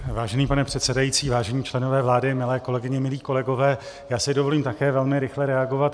Vážený pane předsedající, vážení členové vlády, milé kolegyně, milí kolegové, já si dovolím také velmi rychle reagovat.